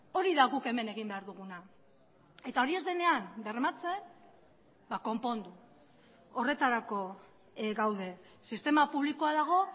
hori da guk hemen egin behar duguna eta hori ez denean bermatzen konpondu horretarako gaude sistema publikoa dago